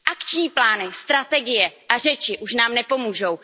Akční plány, strategie a řeči už nám nepomůžou.